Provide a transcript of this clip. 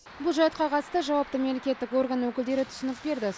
бұл жайтқа қатысты жауапты мемлекеттік орган өкілдері түсінік берді